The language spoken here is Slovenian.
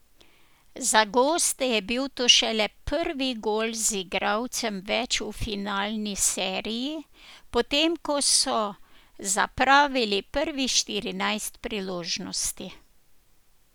Za goste je bil to šele prvi gol z igralcem več v finalni seriji, potem ko so zapravili prvih štirinajst priložnosti.